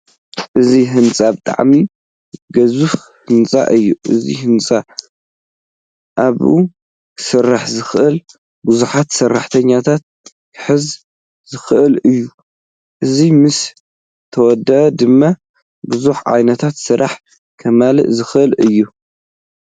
እዚ ህንፃ ብጣዕሚ ገዚፍ ህንፃ እዩ። እዚ ህንፃ ኣብኡ ክሰርሑ ዝክእሉ ቡዙሓት ሰራሕተኛታት ክሕዝ ዝክእልእዩ። እዚ ምስ ተወደአ ድማ ቡዙሕ ዓይነታት ስራሕ ከማልእ ዝክእል እዩ።